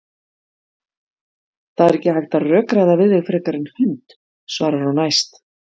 Það er ekki hægt að rökræða við þig frekar en hund, svarar hún æst.